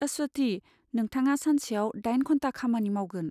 आस्वाथि, नोंथाङा सानसेयाव दाइन घन्टा खामानि मावगोन।